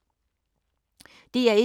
DR1